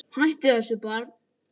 Hættu þessu barn!